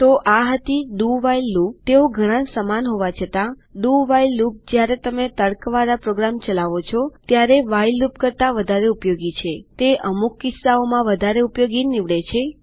તો આ હતી ડીઓ WHILE લૂપતેઓ ઘણા સમાન હોવા છતાં ડીઓ WHILE લૂપ જ્યારે તમે તર્કવાળા પ્રોગામ ચલાવો ત્યારે વ્હાઇલ લૂપ કરતા વધારે ઉપયોગી છેતે અમુક કિસ્સાઓમાં વધારે ઉપયોગી નીવડે છે